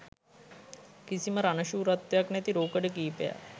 කිසිම රණශූරත්වයක් නැති රූකඩ කීපයක්